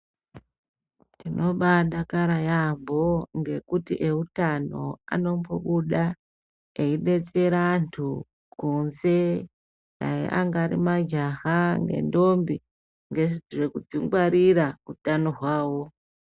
Tinombadakara yambo ngekuti eutano anombobuda eidetsera anthu kunze anyari majaha nendombi ngezvekudzingwarira utano hwavo.